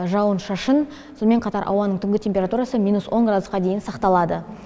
жауын шашын сонымен қатар түнгі ауаның температурасы минус он градусқа дейін сақталады